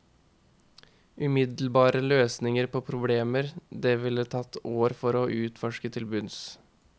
Umiddelbare løsninger på problemer det ville tatt år å utforske til bunns.